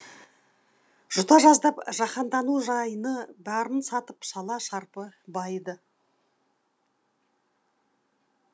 жұта жаздап жаһандану жайыны бәрін сатып шала шарпы байыды